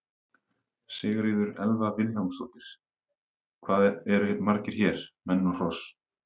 Sigríður Elva Vilhjálmsdóttir: Hvað eru margir hér, menn og hross?